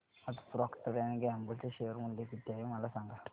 आज Procter and Gamble चे share मूल्य किती आहे मला सांगा